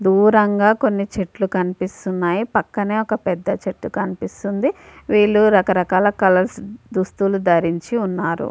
దురం గ కొని చెట్లు కనిపేస్తునే పక్కన ఒక పెద్ద చెట్టు కనిపిస్తుంది . వీలు రక రకాల కలర్స్ దుస్తులు ధరించి ఉన్నారు .